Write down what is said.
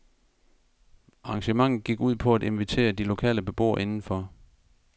Arrangementet gik ud på at invitere de lokale beboere indenfor.